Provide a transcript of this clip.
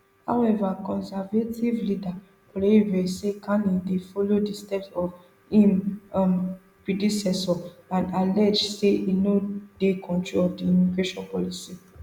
however conservative leader poilievre say carney dey follow di steps of im um predecessor and allege say e no dey control di immigration policy